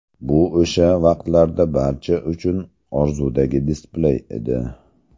Bu o‘sha vaqtlarda barcha uchun orzudagi displey edi.